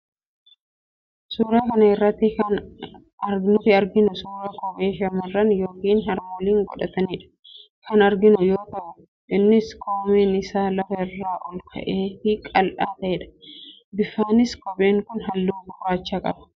Suuraa kana irratti kan nuti arginu suuraa kophee shamarraan yookiin harmooliin godhatan kan arginu yoo ta'u, innis koomeen isaa lafa irraa ol ka'aa fi qal'aa ta'edha. Bifaanis kopheen kun halluu gurraachadha.